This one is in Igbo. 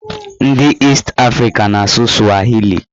Ndị East Africa na-asụ swahili